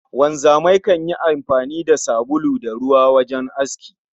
Wanzamai kan yi amfani da sabulu da ruwa wajen aski